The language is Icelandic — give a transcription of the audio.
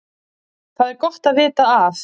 Það er gott að vita að